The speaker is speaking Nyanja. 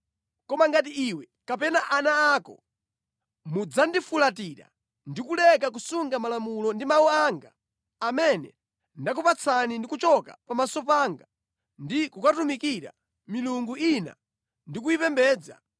“Koma ngati iwe kapena ana ako mudzapatuka ndi kuleka kusunga malamulo ndi mawu anga amene ndakupatsani ndi kupita kukatumikira milungu ina ndi kuyipembedza,